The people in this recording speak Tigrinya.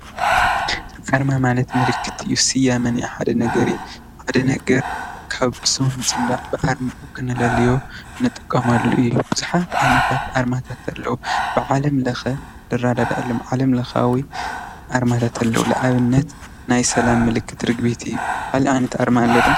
ኣርማ ማለት ምልክት እዩ ስያሜ ናይ ሓደ ነገር እዩ። ሓደ ነገር ካብ ብስም ብምፅዋዕ ብኣርሙ ንክነለልዩ ንጥቀመሉ እዩ። ብዙሓት ዓይነታት ኣርማታት ኣለው። ብዓለም ለኸ ዝረዳደአሎም ዓለም ለኻዊ ኣርማታት ኣለው። ንኣብነት ናይ ሰላም ምልክት ርግቢት እዩ ካሊእ ዓይነት ኣርማ ኸ ኣሎ ዶ?